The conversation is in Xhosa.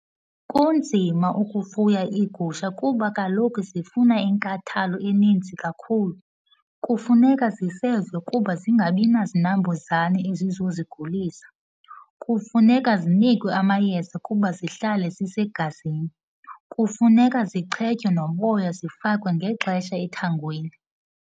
Kunzima ukufuya iigusha kuba kaloku zifuna inkathalo eninzi kakhulu. Kufuneka zisezwe kuba zingabi nazinambuzane ezizozigulisa. Kufuneka zinikwe amayeza kuba zihlale zisegazini. Kufuneka zichetywe noboya, zifakwe ngexesha ethangweni.